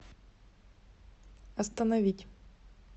остановить